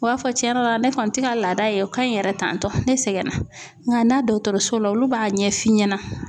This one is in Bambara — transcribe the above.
O b'a fɔ cɛn yɛrɛ la ne kɔni tɛ ka laada ye o ka ɲi yɛrɛ tantɔ ne sɛgɛnna nka na dɔgɔtɔrɔso la olu b'a ɲɛ f'i ɲɛna.